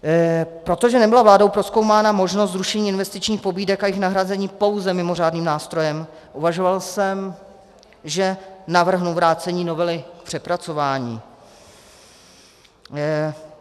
Protože nebyla vládou prozkoumána možnost zrušení investičních pobídek a jejich nahrazení pouze mimořádným nástrojem, uvažoval jsem, že navrhnu vrácení novely k přepracování.